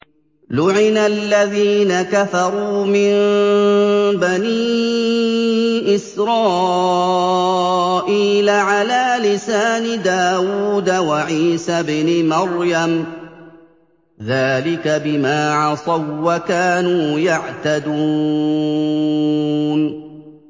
لُعِنَ الَّذِينَ كَفَرُوا مِن بَنِي إِسْرَائِيلَ عَلَىٰ لِسَانِ دَاوُودَ وَعِيسَى ابْنِ مَرْيَمَ ۚ ذَٰلِكَ بِمَا عَصَوا وَّكَانُوا يَعْتَدُونَ